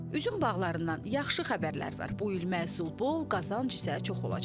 Üzüm bağlarından yaxşı xəbərlər var, bu il məhsul bol, qazanc isə çox olacaq.